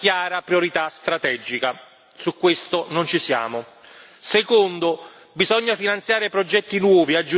Su questo non ci siamo. Secondo bisogna finanziare progetti nuovi, aggiuntivi, come si dice addizionali.